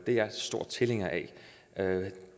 er jeg en stor tilhænger af